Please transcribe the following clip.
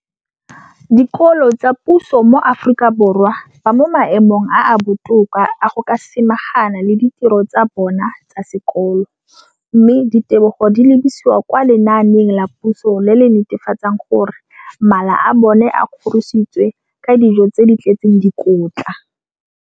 dikolo tsa puso mo Aforika Borwa ba mo maemong a a botoka a go ka samagana le ditiro tsa bona tsa sekolo, mme ditebogo di lebisiwa kwa lenaaneng la puso le le netefatsang gore mala a bona a kgorisitswe ka dijo tse di tletseng dikotla.